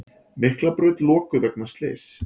Miklabraut lokuð vegna slyss